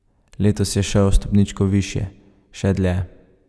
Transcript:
Letos je šel, stopničko višje, še dlje.